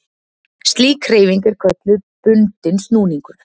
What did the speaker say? Slík hreyfing er kölluð bundinn snúningur.